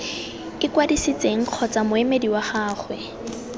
ikwadisitseng kgotsa moemedi wa gagwe